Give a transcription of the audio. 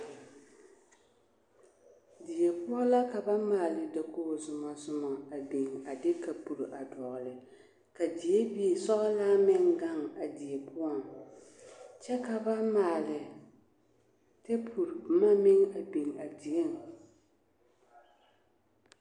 Die poɔ la ka ba maale dakogi zomɔ zomɔ a biŋ a de kapuro a dɔgele, ka diebie sɔgelaa meŋ gaŋ a die poɔŋ kyɛ ka ba maale tepuri boma meŋ a biŋ a dieŋ.